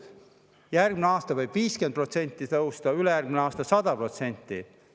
Järgmisel aastal võib see maks tõusta 50%, ülejärgmisel aastal 100%.